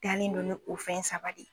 Dalen don n'o o fɛn saba de ye